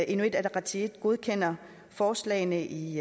inuit ataqatigiit godkender forslagene i